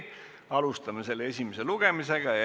Alustame selle esimest lugemist.